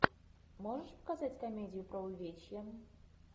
можешь показать комедию про увечье